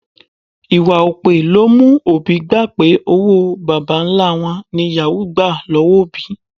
Ìwà òpè ló mú òbí gbà pé owó bàbá-ńlá wọn ní yàwúù gbà lọ́wọ́ òbí